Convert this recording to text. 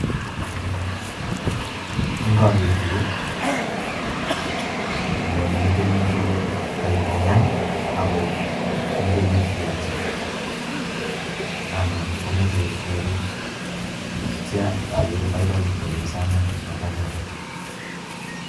Inkoker yuu yone metinyun kole koi tanya ako moche kityoki ana komoche kekei ak ityo okere baibai chepyosanon bo tanyaton.